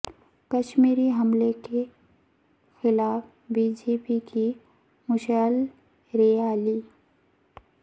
کشمیر حملہ کے خلاف بی جے پی کی مشعل ریالی